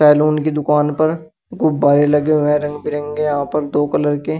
Salon की दुकान पर गुब्बारे लगे हुए हैं रंग बिरंगे यहां पर दो कलर के।